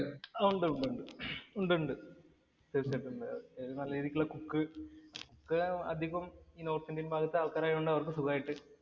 ഒണ്ടൊണ്ട്. ഉണ്ടുണ്ട്. തീര്‍ച്ചയായിട്ടും ഉണ്ട്. നല്ല രീതിയിലുള്ള cook cook അധികം north indian ഭാഗത്തെ ആള്‍ക്കാരായത് കൊണ്ട് അവര്‍ക്ക് സുഖായിട്ട്